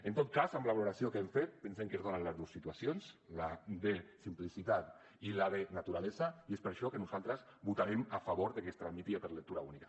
en tot cas amb la valoració que hem fet pensem que es donen les dues situacions la de simplicitat i la de naturalesa i és per això que nosaltres votarem a favor que es tramiti per lectura única